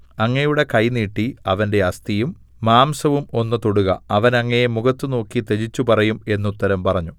അങ്ങയുടെ കൈ നീട്ടി അവന്റെ അസ്ഥിയും മാംസവും ഒന്ന് തൊടുക അവൻ അങ്ങയെ മുഖത്ത് നോക്കി ത്യജിച്ചുപറയും എന്നുത്തരം പറഞ്ഞു